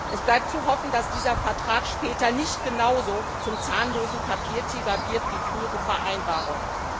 Es bleibt zu hoffen, dass dieser Vertrag später nicht genauso zum zahnlosen Papiertiger wird wie frühere Vereinbarungen.